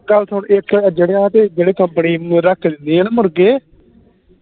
ਗੱਲ ਸੁਨ ਇਕ ਤੇ ਜਿਹੜੀ ਆ ਤੇ ਜਿਹੜੀ company ਰੱਖ ਕੇ ਦਿੰਦੀ ਆ ਨਾ ਮੁਰਗੇ